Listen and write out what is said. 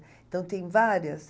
Então, tem várias.